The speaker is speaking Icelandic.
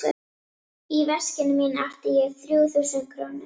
Í veskinu mínu átti ég þrjú þúsund krónur.